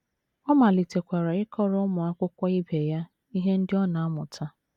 Ọ malitekwara ịkọrọ ụmụ akwụkwọ ibe ya ihe ndị ọ na - amụta.